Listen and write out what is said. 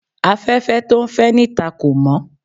Afẹ́fẹ́ tó ń fẹ́ níta kò mọ́